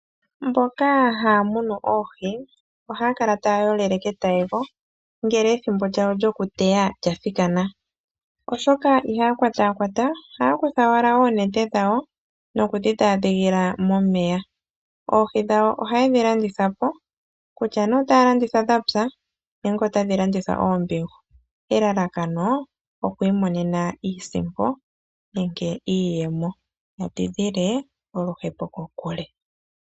Mboka haya munu oohi ohaya kala taya yolele ketayego ngele ethimbo lyayo lyomuteya lyathikana, oshoka ihaya kwatakwata, ohaya kutha owala oonete dhawo nokudhidhaadhigila momeya. Oohi dhayo oha ye dhi landitha po kutya nee otaye dhi landitha dhapya nenge otadhi landithwa oombihu, elalakano oku imonena iisimpo nenke iiyemo ya tidhile oluhepo kokule.